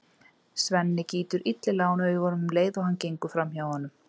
Svenni gýtur illilega á hann augunum um leið og hann gengur fram hjá honum.